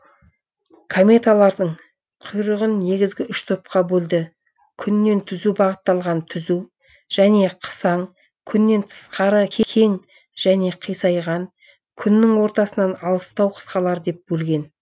бредихин кометалардың құйрығын негізгі үш топқа бөлді күннен түзу бағытталған түзу және қысаң күннен тысқары кең және қисайған күннің ортасынан алыстау қысқалар деп бөлген